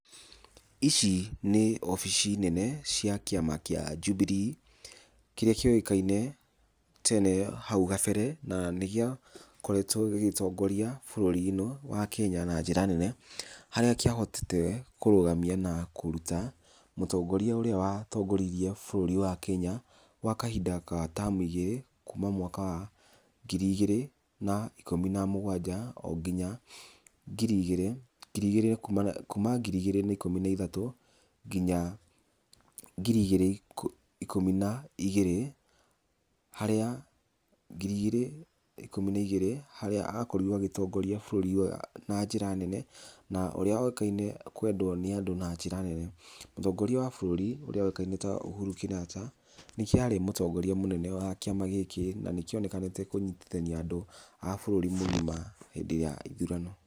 Ici nĩ obici nene cia kĩama kĩa Jubilee, kĩrĩa kĩũĩkaine tene hau gabere, na nĩ gĩakoretwo gĩgĩtongoria bũrũri ĩno wa Kenya na njĩra nene, harĩa kĩahotete kũrũgamia na kũruta mũtongoria ũrĩa watongoririe bũrũri wa Kenya gwa kahinda ga tamu igĩrĩ, kuuma mwaka wa ngiri igĩrĩ na ikũmi na mũgwanja o nginya ngiri igĩrĩ ngiri igĩrĩ kuuma kuuma ngiri igĩrĩ na ikũmi na ithatũ nginya ngiri igĩrĩ ikũmi na igĩrĩ harĩa ngiri igĩrĩ ikũmi na igĩrĩ harĩa akorirwo agĩtongoria bũrũri ũyũ na njĩra nene na ũrĩa woĩkaine kwendwo nĩ andũ na njĩra nene. Mũtongoria wa bũrũri ũrĩa woĩkaine ta Uhuru Kenyatta, nĩkĩo arĩ mũtongoria mũnene wa kĩama gĩkĩ, na nĩkionekanĩte kũnyitithania andũ a bũrũri mũgima hĩndĩ ya ithurano.